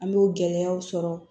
An b'o gɛlɛyaw sɔrɔ